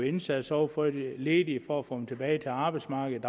indsats over for de ledige for for at få dem tilbage til arbejdsmarkedet